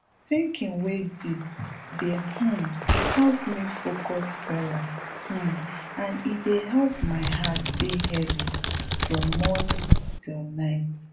thinking wey deep dey um help me focus weller um and e dey help my heart dey heavy from morning till night